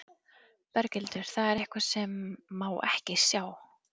Berghildur: Það er eitthvað sem má ekki sjá?